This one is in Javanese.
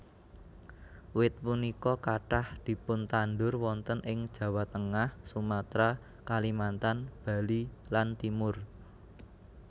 Wit punika kathah dipuntandhur wonten ing Jawa Tengah Sumatra Kalimantan Bali lanTimor